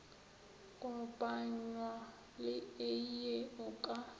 kopanywa le eie o ka